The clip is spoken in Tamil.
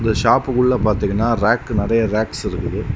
இந்த ஷாப்புக்குள்ள பாத்தீங்கன்னா ராக்கு நறைய ராக்ஸ் இருக்குது.